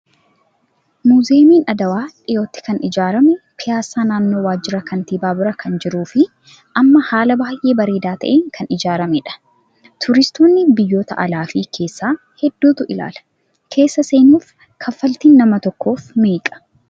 Muuziyeemiin Adwaa dhiyootti kan ijaarame piyaasaa naannoo waajjira kantiibaa bira kan jiruu fi amma haala baay'ee bareedaa ta'een kan ijaaramedha. Turistoonni biyyoota alaa fi keessaa hedduutu ilaala. Keessa seenuuf kaffaltiin nama tokkoof meeqa?